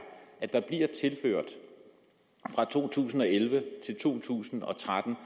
at der fra to tusind og elleve til to tusind og tretten